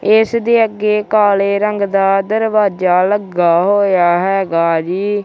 ਇਸ ਦੇ ਅੱਗੇ ਕਾਲੇ ਰੰਗ ਦਾ ਦਰਵਾਜ਼ਾ ਲੱਗਾ ਹੋਇਆ ਹੈਗਾ ਜੀ।